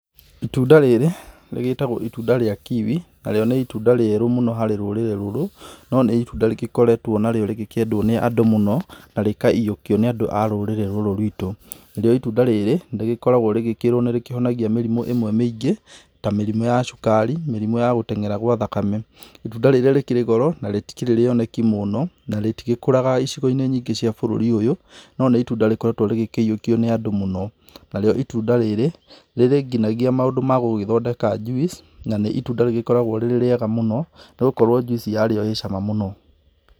Itunda rĩrĩ rĩgĩtagwo itunda rĩa kiwi, narĩo nĩ itunda rĩerũ mũno harĩ rũrĩrĩ rũrũ, no nĩ itunda rĩgĩkoretwo narĩo rĩgĩkĩendwo nĩ andũ mũno, na rĩkayũokio nĩ andũ a rũrĩrĩ rũrũ rwĩtũ. Narĩo itunda rĩrĩ nĩ rĩkoragwo rĩgĩkĩrwo nĩ rĩkĩhonia mĩrimũ ĩmwe mĩingĩ ta mĩrimũ ya cukari, mĩrimũ ya gũtengera gwa thakame. Itunda rĩrĩ rĩkĩrĩ goro mũno, na rĩtĩkĩrĩ rĩoneki mũno, na rĩtĩgĩkũraga icigo-inĩ nyingĩ cia bũrũri ũyũ, no nĩ itunda rĩgĩkoretwo rĩgĩkĩyũokio nĩ andũ mũno. Narĩo itunda rĩrĩ, rĩrĩ nginagĩa maũndũ ma gũgĩthondeka juice na nĩ itunda rĩgĩkoragwo rĩrĩ rĩega mũno, nĩ gũkorwo juice yarĩo ĩrĩ cama mũno.